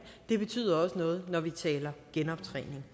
det betyder også noget når vi taler genoptræning